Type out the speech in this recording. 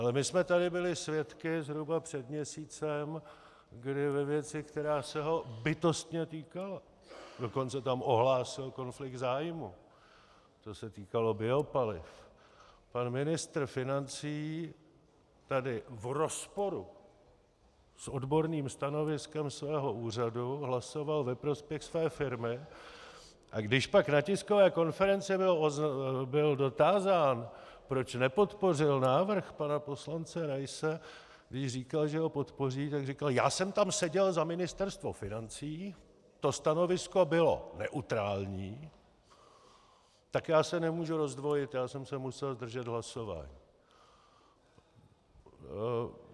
Ale my jsme tady byli svědky zhruba před měsícem, kdy ve věci, která se ho bytostně týkala, dokonce tam ohlásil konflikt zájmů, to se týkalo biopaliv, pan ministr financí tady v rozporu s odborným stanoviskem svého úřadu hlasoval ve prospěch své firmy, a když pak na tiskové konferenci byl dotázán, proč nepodpořil návrh pana poslance Raise, když říkal, že ho podpoří, tak říkal: já jsem tam seděl za Ministerstvo financí, to stanovisko bylo neutrální, tak já se nemůžu rozdvojit, já jsem se musel zdržet hlasování.